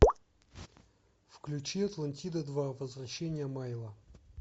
включи атлантида два возвращение майло